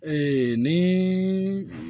ni